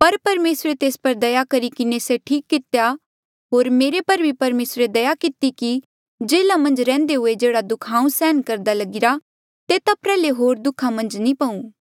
पर परमेसरे तेस पर दया करी किन्हें से ठीक कितेया होर मेरे पर भी परमेसरे दया किती कि जेल्हा मन्झ रैहन्दे हुए जेहड़ा दुःखा हांऊँ सहन करदा लगिरा तेता प्र्याहले होर दुःखा मन्झ नी पऊ